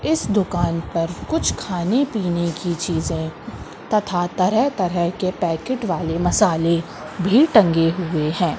इस दुकान पर कुछ खाने पीने की चीजें तथा तरह तरह के पैकेट वाले मसालें भी टंगे हुए है।